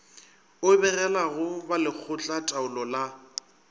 o begelago ba lekgotlataolo la